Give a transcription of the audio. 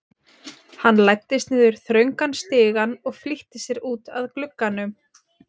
Hann læddist niður þröngan stigann og flýtti sér út að glugganum.